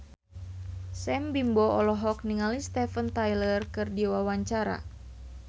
Sam Bimbo olohok ningali Steven Tyler keur diwawancara